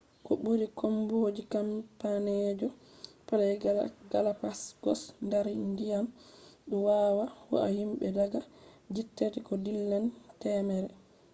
ko buri komboje cappandejigo ply galapagosdar ndyan dou wawah hua himbe daga jitati ko dillani temere